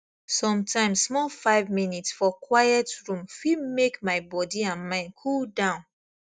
sometimes small five minutes for quiet room fit make my body and mind cool down